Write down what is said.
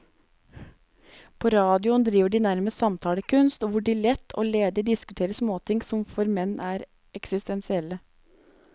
På radioen driver de nærmest samtalekunst, hvor de lett og ledig diskuterer småting som for menn er eksistensielle.